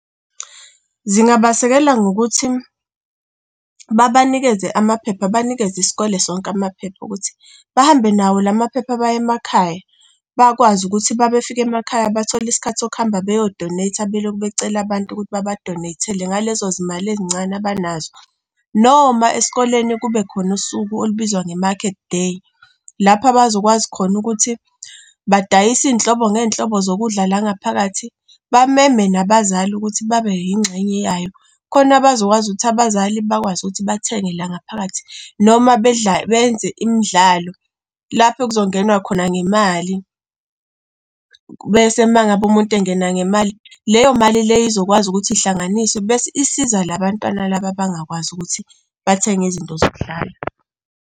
Zingabasekela ngokuthi babanikeze amaphepha, banikeze isikole sonke amaphepha okuthi bahambe nawo la maphepha baye emakhaya bakwazi ukuthi uma befika emakhaya. Bathole isikhathi sokuhamba beyo-donate-a belokhu becela abantu ukuthi baba-donate-ele, ngalezo zimali ezincane abanazo. Noma esikoleni kube khona usuku olubizwa nge-Market Day. Lapho abazokwazi khona ukuthi badayise inhlobo ngey'nhlobo zokudla la ngaphakathi, bameme nabazali ukuthi babe yingxenye yayo, khona bazokwazi ukuthi abazali bakwazi ukuthi bathenge la ngaphakathi, noma bedla, benze imidlalo lapho kuzongenwa khona ngemali. Mese uma ngabe umuntu engena ngemali, leyo mali le izokwazi ukuthi ihlanganiswe bese isiza labantwana laba abangakwazi ukuthi bathenge izinto zokudlala.